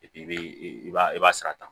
i b'i i b'a i b'a sara